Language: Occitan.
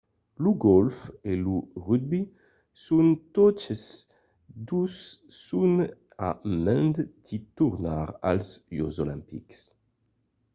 lo gòlf e lo rugbi son totes dos son a mand de tornar als jòcs olimpics